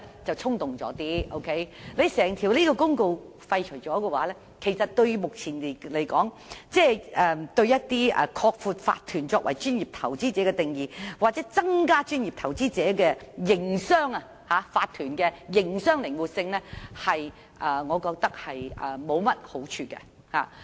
若把法律公告廢除，我認為以目前而言，將對擴闊法團作為專業投資者的定義，又或增加作為專業投資者的法團的營商靈活性並無好處。